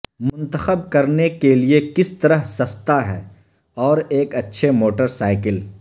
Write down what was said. منتخب کرنے کے لئے کس طرح سستا ہے اور ایک اچھے موٹر سائیکل